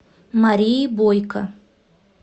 марии бойко